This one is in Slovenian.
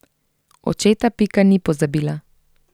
Očeta Pika ni pozabila.